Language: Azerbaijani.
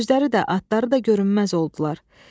Özləri də, atları da görünməz oldular.